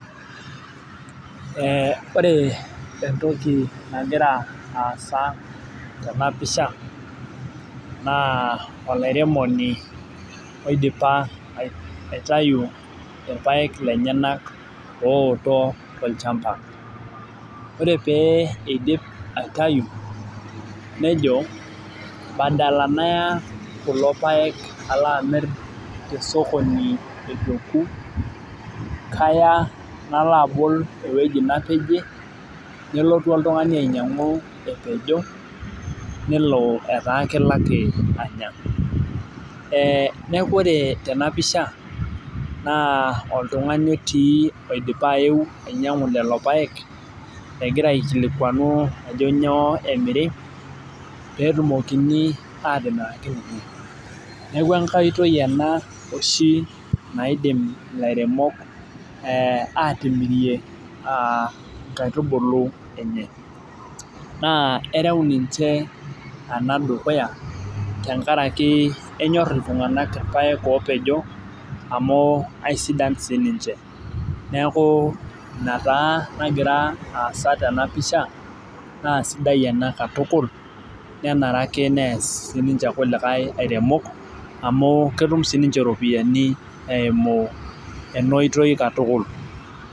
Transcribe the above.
Ee ore entoki nagira aasa tena pisha naa olairemoni oidipa aitayu irpaek lenyenak ooto tolchampa. ore pee idipi aitayu nejo badala Naya kulo paek alo amir te sokoni eitu eku, kaya nalo abol ewueji napejie, nelotu oltungani ainyiangu, nepejo. nelp etaa kelo ake anya. neeku ore tena pisha, naa oltungani otii oidipa ayeu ainyiangu lelo paek. Egira aikilikuan ajo nyoo emiri. pee etumokini aatimiraki ninye. neeku enkae oitoi ena oshi naidim ilairemok pee aatimirie, nkaitubulu enye. naa ereu ninche ena dukuya tenkaraki enyorr iltunganak irpaek oopejo. amu aisidan sii niche. neeku Ina taa nagira aasa tena pisha. naa sidai ena katukul. nenare ake nees sii ninche kuliakae airemok, amu ketum sii ninche iropiyiani eimu ena oitoii katukul.